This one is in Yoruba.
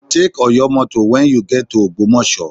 Take Oyo motor when you get to Ògbómọ̀ṣọ́